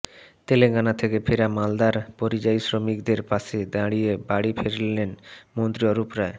তেলেঙ্গানা থেকে ফেরা মালদার পরিযায়ী শ্রমিকদের পাশে দাঁড়িয়ে বাড়ি ফেরালেন মন্ত্রী অরূপ রায়